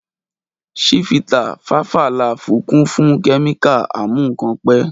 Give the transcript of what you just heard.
Ṣifítà, fàfà làfú kún fún kẹmika àmú kàn pẹ.